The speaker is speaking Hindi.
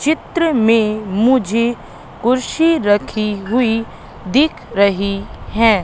चित्र में मुझे कुर्सी रखी हुई दिख रही है।